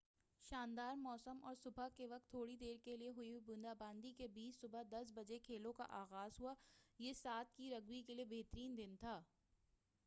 شاندار موسم اور صبح کے وقت تھوڑی دیر کیلئے ہوئی بوندا باندی کے بیچ صبح 10:00 بجے کھیلوں کا آغاز ہوا، یہ 7' کی رگبی کیلئے بہترین دن تھا۔